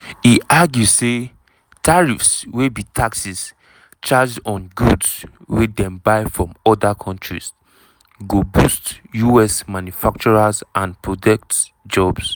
e argue say tariffs wey be taxes charged on goods wey dem buy from oda kontris go boost us manufacturers and protect jobs.